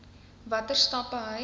watter stappe hy